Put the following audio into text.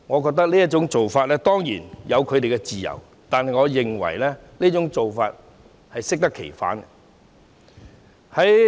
他們當然有自由這樣做，但我認為這種做法是適得其反的。